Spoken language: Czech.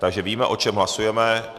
Takže víme, o čem hlasujeme.